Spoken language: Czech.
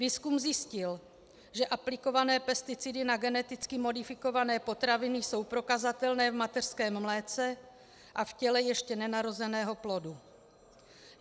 Výzkum zjistil, že aplikované pesticidy na geneticky modifikované potraviny jsou prokazatelné v mateřském mléce a v těle ještě nenarozeného plodu.